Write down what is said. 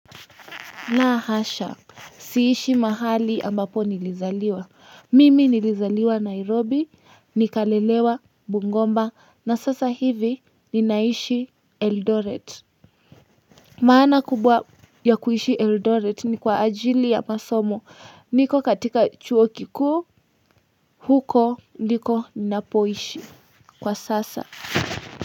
La hasha, siishi mahali ambapo nilizaliwa. Mimi nilizaliwa Nairobi, nikalelewa Bungoma, na sasa hivi ninaishi Eldoret. Maana kubwa ya kuishi Eldoret ni kwa ajili ya masomo. Niko katika chuo kikuu, huko ndiko ninapoishi. Kwa sasa.